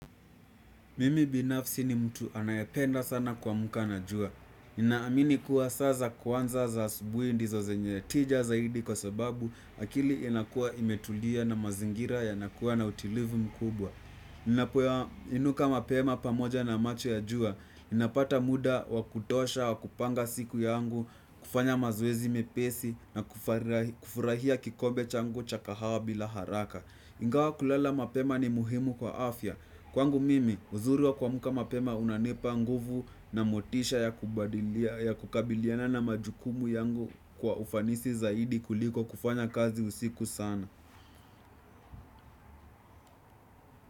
Mimi binafsi ni mtu anayependa sana kuamka na jua. Ninaamini kuwa saa za kwanza za asubuhi ndizo zenye tija zaidi kwa sababu akili inakua imetulia na mazingira yanakuwa na utulivu mkubwa. Ninapoinuka mapema pamoja na macho ya jua, ninapata muda wa kutosha wa kupanga siku yangu kufanya mazoeziepesi na kufurahia kikombe changu cha kahawa bila haraka. Ingawa kulala mapema ni muhimu kwa afya. Kwangu mimi, uzuri wa kuamka mapema unanipa nguvu na motisha ya kukabiliana na majukumu yangu kwa ufanisi zaidi kuliko kufanya kazi usiku sana.